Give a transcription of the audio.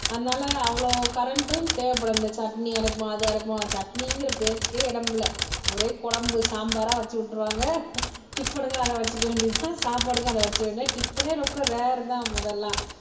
அதனால அவ்வளவு கரண்டும் தேவைப்படும் இந்த சட்னி அரைப்போம் அது அரைப்போம் சட்னிங்கிற பேச்சுக்கே இடமில்லை ஒரே குழம்பு சாம்பாரா வச்சு விட்டுருவாங்க டிபன்னுக்கு அதை வச்சுக்க வேண்டியதுதான் சாப்பாட்டுக்கு அதை வெச்சி விட டிபன்னே ரொம்ப ரேர்தான் முதல்ல